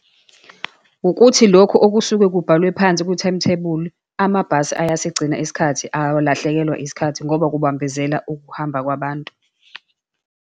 Ukuthi lokhu okusuke kubhalwe phansi kwi-timetable, amabhasi eyasigcina isikhathi, awahlekelwa isikhathi ngoba kubambezela ukuhamba kwabantu.